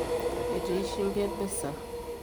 etii shimbi emisa